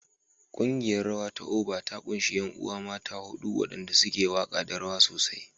Ƙungiyar rawa ta Oba ta ƙunshi ƴan uwa mata huɗu waɗanda suke waƙa da rawa sosai.